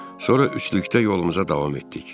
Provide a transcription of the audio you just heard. Sonra üçlükdə yolumuza davam etdik.